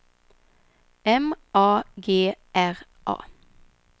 M A G R A